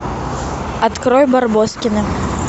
открой барбоскины